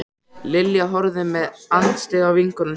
Lilja horfði með andstyggð á vinkonu sína.